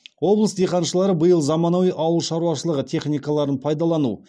облыс диқаншылары биыл заманауи ауылшаруашылығы техникаларын пайдалану